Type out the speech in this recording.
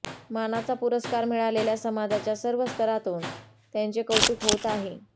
मानाचा पुरस्कार मिळाल्याने समाजाच्या सर्व स्तरातून त्यांचे कौतुक होत आहे